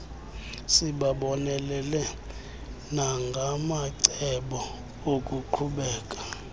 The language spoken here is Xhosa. sibabonelele nangamacebo okuqhubela